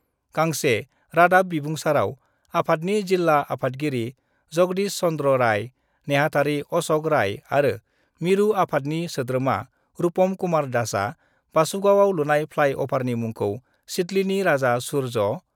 गांसे रादाब बिबुंसारआव आफादनि जिल्ला आफादगिरि जगदिश चन्द्र राय, नेहाथारि अशक राय आरो मिरु आफादनि सोद्रोमा रुपम कुमार दासआ बासुगावआव लुनाय फ्लाइ अभारनि मुंखौ सिदलीनि राजा सुर्य